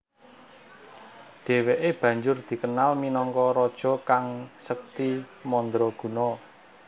Dheweke banjur dikenal minangka raja kang sekti mandraguna